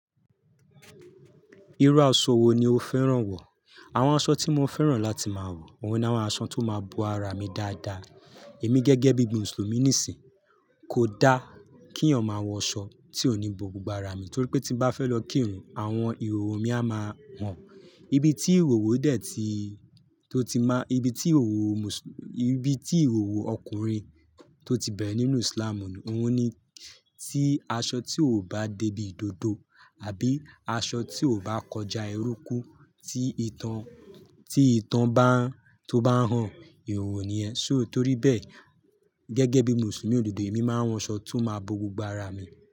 Irú aṣọ wo ni o fẹ́ràn wọ̀? Àwọn aṣọ tí mo fẹ́ràn láti máa wọ̀, oun ni àwọn aṣọ tó máa bo ara mi dáadáa. Èmi gẹ́gẹ́ bí i Mùsùlùmí nísìí, kò dá kí eeyan máa wọ aṣọ tí ò ní bo gbogbo ara mi, torí pé tí n bá fẹ́ lọ kírun, àwọn ìhòòhò mi á máa hàn. Ibi tí ìhòòhò dé tí, tó ti má, ibi tí ìhòòhò Mùsùlú, ibi tí ìhòòhò ọkùnrin tó ti bẹ̀ nínú Islamú, óun ní tí aṣọ tí ò bá débí dòdò àbí aṣọ tí ò bá kọjá ẹrúkú tí ìtàn, tí ìtàn bá, tó bá hàn, ìhòòhò ni ẹ. So torí bẹ́ẹ̀, gẹ́gẹ́ bí Mùsùlùmí òdodo, èmi máa ń wọṣọ tó máa bo gbogbo ara mi.